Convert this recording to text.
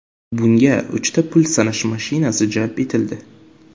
Bunga uchta pul sanash mashinasi jalb etildi.